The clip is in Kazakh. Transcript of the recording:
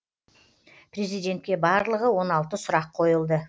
президентке барлығы он алты сұрақ қойылды